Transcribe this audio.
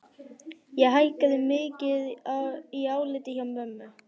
Ég hækkaði mikið í áliti hjá mömmu.